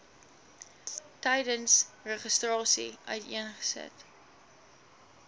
tydens registrasie uiteengesit